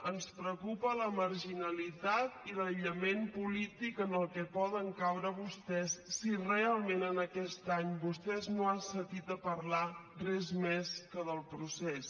ens preocupa la marginalitat i l’aïllament polític en el que poden caure vostès si realment en aquest any vostès no han sentit a parlar res més que del procés